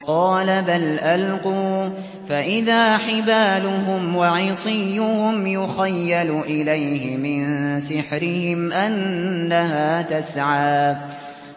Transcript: قَالَ بَلْ أَلْقُوا ۖ فَإِذَا حِبَالُهُمْ وَعِصِيُّهُمْ يُخَيَّلُ إِلَيْهِ مِن سِحْرِهِمْ أَنَّهَا تَسْعَىٰ